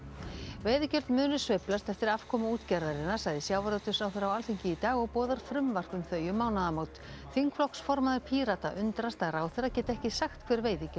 veiðigjöld munu sveiflast eftir afkomu útgerðarinnar sagði sjávarútvegsráðherra á Alþingi í dag og boðar frumvarp um þau um mánaðamót þingflokksformaður Pírata undrast að ráðherra geti ekki sagt hver veiðigjöld